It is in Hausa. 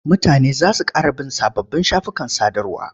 Mutane za su ƙara bin sababbin shafukan sadarwa.